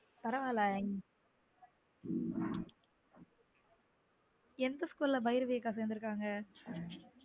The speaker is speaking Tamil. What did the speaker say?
பரவாயில்ல உம் எந்த school ல பைரவி அக்கா சேர்ந்துருக்காங்கா